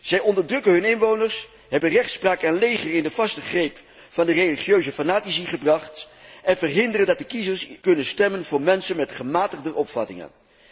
Zij onderdrukken hun inwoners, hebben rechtspraak en leger in de vaste greep van de religieuze fanatici gebracht, en verhinderen dat de kiezers kunnen stemmen voor mensen met gematigder opvattingen.